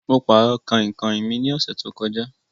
Mo pàrọ̀ kàinkàin mi ní ọ̀sẹ̀ to kọjá